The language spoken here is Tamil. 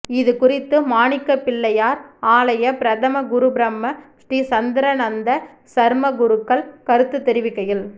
இது குறித்து மாணிக்கப்பிள்ளையார் ஆலய பிரதம குரு பிரம்ம ஸ்ரீ சந்திராநந்த சர்மா குருக்கள் கருத்து தெரிவிக்கையில்